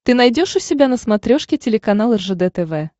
ты найдешь у себя на смотрешке телеканал ржд тв